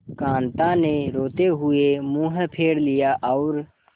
कांता ने रोते हुए मुंह फेर लिया और